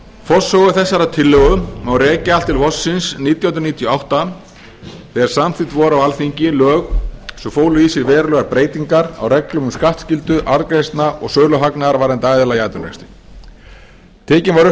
tillögu má rekja allt til vorsins nítján hundruð níutíu og átta þegar samþykkt voru á alþingi lög sem fólu í sér verulegar breytingar á reglum um skattskyldu arðgreiðslna og söluhagnaðar varðandi aðila í atvinnurekstri tekin var upp